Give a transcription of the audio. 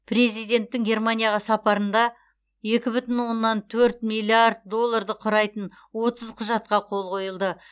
президенттің германияға сапарында екі бүтін оннан төрт миллиард долларды құрайтын отыз құжатқа қол қойылды